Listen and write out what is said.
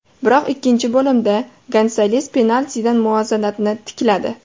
Biroq ikkinchi bo‘limda Gonsales penaltidan muvozanatni tikladi.